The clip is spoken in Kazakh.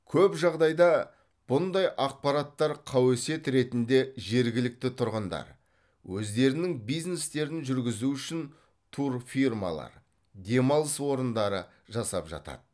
көп жағдайда бұндай ақпараттар қауесет ретінде жергілікті тұрғындар өздерінің бизнестерін жүргізу үшін турфирмалар демалыс орындары жасап жатады